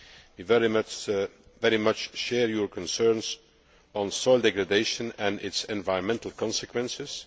We very much share your concerns on soil degradation and its environmental consequences.